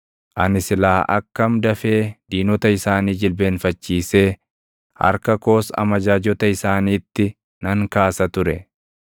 ani silaa akkam dafee diinota isaanii jilbeenfachiisee harka koos amajaajota isaaniitti nan kaasa ture!